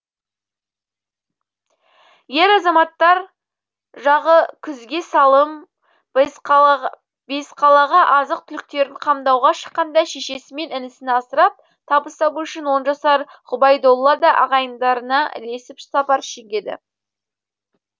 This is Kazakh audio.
ер азаматтар жағы күзгесалым бесқалаға азық түліктерін қамдауға шыққанда шешесі мен інісін асырап табыс табу үшін он жасар ғұбайдолла да ағайындарына ілесіп сапар шегеді